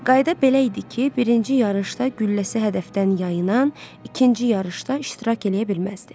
Qayda belə idi ki, birinci yarışda gülləsi hədəfdən yayınan, ikinci yarışda iştirak eləyə bilməzdi.